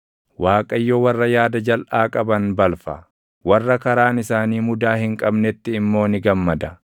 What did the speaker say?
Waaqayyo warra yaada jalʼaa qaban balfa; warra karaan isaanii mudaa hin qabnetti immoo ni gammada.